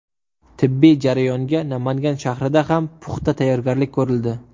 Tibbiy jarayonga Namangan shahrida ham puxta tayyorgarlik ko‘rildi.